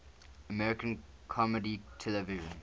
american comedy television